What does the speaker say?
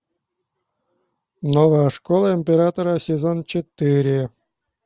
новая школа императора сезон четыре